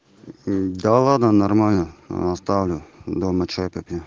да ладно нормально оставлю дома чай попью